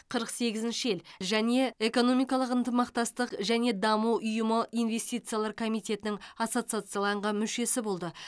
қырық сегізінші ел және экономикалық ынтымақтастық және даму ұйымы инвестициялар комитетінің ассоцияцияланған мүшесі болды